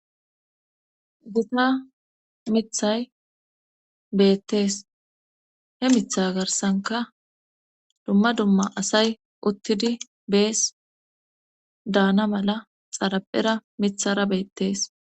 Gitta miththay beetees. He miththa garssankka dumma dumma asay uttis. Uttidi be'ees. daana mala xaraphera miththara beetees.